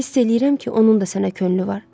Hiss eləyirəm ki, onun da sənə könlü var.